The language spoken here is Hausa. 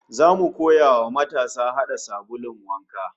Zamu koya wa matasa hada sabulun wanka